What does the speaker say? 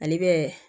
Ani bɛ